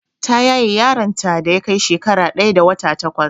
Ta yaye yaron ta da yakai shekara ɗaya da wata takwas